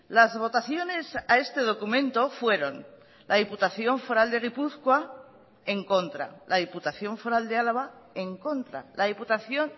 las votaciones a este documento fueron la diputación foral de gipuzkoa en contra la diputación foral de álava en contra la diputación